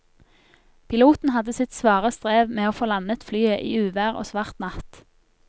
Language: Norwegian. Piloten hadde sitt svare strev med å få landet flyet i uvær og svart natt.